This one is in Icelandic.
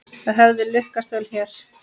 Það hefði lukkast vel hér.